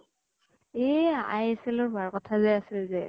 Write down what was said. এ ISL ৰ হোৱাৰ কথা যে আছিলে যে